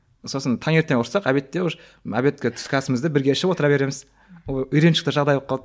сосын таңертең ұрыссақ обедте уже обедке түскі асымызды бірге ішіп отыра береміз ол үйреншікті жағдай болып қалды